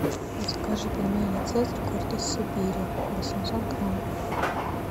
закажи пельмени цезарь гордость сибири восемьсот грамм